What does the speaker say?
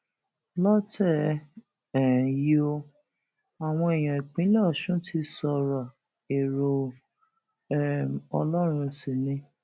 lọtẹ um yìí ó àwọn èèyàn ìpínlẹ ọsùn ti sọrọ èrò um ọlọrun sí ni